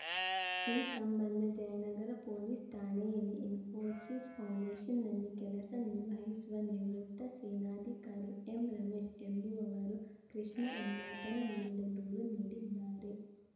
ಈ ಸಂಬಂಧ ಜಯನಗರ ಪೊಲೀಸ್‌ ಠಾಣೆಯಲ್ಲಿ ಇಸ್ಫೋಸಿಸ್‌ ಫೌಂಡೇಶ್‌ನಲ್ಲಿ ಕೆಲಸ ನಿರ್ವಹಿಸುವ ನಿವೃತ್ತ ಸೇನಾಧಿಕಾರಿ ಎಂರಮೇಶ್‌ ಎಂಬುವವರು ಕೃಷ್ಣ ಎಂಬಾತನ ವಿರುದ್ಧ ದೂರು ನೀಡಿದ್ದಾರೆ